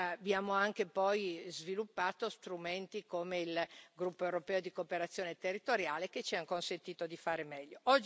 Abbiamo poi anche sviluppato strumenti come il gruppo europeo di cooperazione territoriale, che ci hanno consentito di fare meglio.